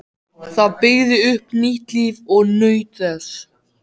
Það byggði upp nýtt líf og naut þess.